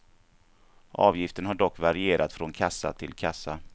Avgiften har dock varierat från kassa till kassa.